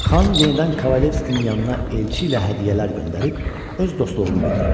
Xan yenidən Kavalivskinin yanına elçi ilə hədiyyələr göndərib öz dostluğunu bildirdi.